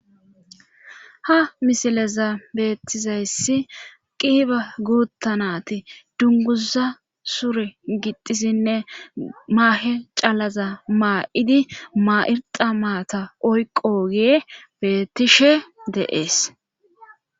Ha misilezan beettizayssi qiipha guutha naati dungguuza sure gixxidinne maahe calaza maa7idi maa7irxxa maata oyqqoogey beetishe de7ees.